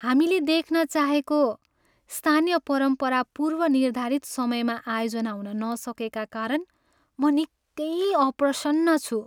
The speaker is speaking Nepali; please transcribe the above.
हामीले देख्न चाहेको स्थानीय परम्परा पूर्वनिर्धारित समयमा आयोजना हुन नसकेका कारण म निकै अप्रसन्न छु।